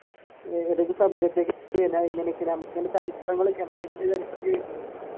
ഏതൊക്കെ subject എടുത്തുകഴിഞ്ഞാൽ